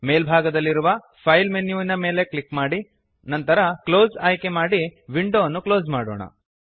ಮೇಲ್ಭಾಗದಲ್ಲಿರುವ file menu ವಿನ ಮೇಲೆ click ಮಾಡಿ ನಂತರ ಕ್ಲೋಸ್ ಆಯ್ಕೆ ಮಾಡಿ ವಿಂಡೋ ಅನ್ನು ಕ್ಲೋಸ್ ಮಾಡೋಣ